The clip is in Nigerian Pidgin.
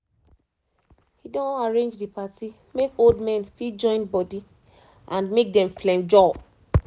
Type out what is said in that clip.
he don arrange the party make old men fit join body and make dem flenjor